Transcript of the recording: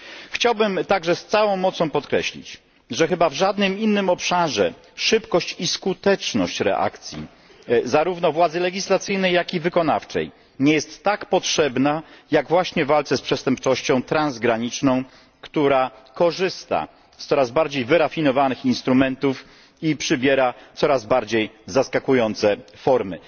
Chciałbym także z całą mocą podkreślić, że chyba w żadnym innym obszarze szybkość i skuteczność reakcji zarówno władzy legislacyjnej, jak i wykonawczej nie jest tak potrzebna, jak właśnie w walce z przestępczością transgraniczną, która korzysta z coraz bardziej wyrafinowanych instrumentów i przybiera coraz bardziej zaskakujące formy.